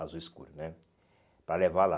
azul escuro né, para levar lá.